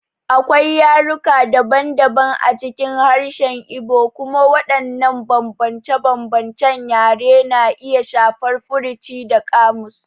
Akwai yaruka daban-daban a cikin harshen Igbo, kuma waɗannan bambance-bambancen yare na iya shafar furuci da ƙamus.